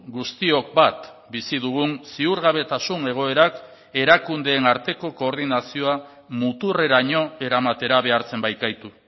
guztiok bat bizi dugun ziurgabetasun egoerak erakundeen arteko koordinazioa muturreraino eramatera behartzen baikaitu